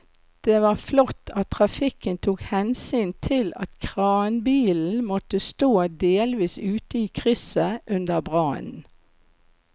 Det var flott at trafikken tok hensyn til at kranbilen måtte stå delvis ute i krysset under brannen.